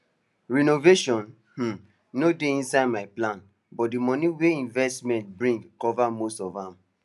renovation um no dey inside my plan but the money wey investment bring cover most of am